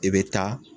I bɛ taa